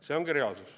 See ongi reaalsus.